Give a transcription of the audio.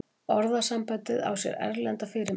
orðasambandið á sér erlenda fyrirmynd